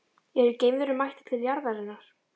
Eru geimverur mættar til jarðarinnar?